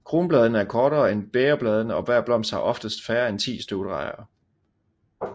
Kronbladene er kortere end bægerbladene og hver blomst har oftest færre end ti støvdragere